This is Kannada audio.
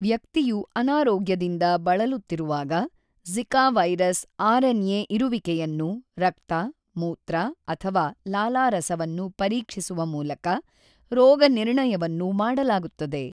ವ್ಯಕ್ತಿಯು ಅನಾರೋಗ್ಯದಿಂದ ಬಳಲುತ್ತಿರುವಾಗ ಝಿಕಾ ವೈರಸ್ ಆರ್‌ಎನ್ಎ ಇರುವಿಕೆಯನ್ನು ರಕ್ತ, ಮೂತ್ರ ಅಥವಾ ಲಾಲಾರಸವನ್ನು ಪರೀಕ್ಷಿಸುವ ಮೂಲಕ ರೋಗನಿರ್ಣಯವನ್ನು ಮಾಡಲಾಗುತ್ತದೆ.